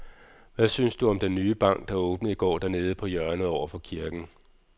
Hvad synes du om den nye bank, der åbnede i går dernede på hjørnet over for kirken?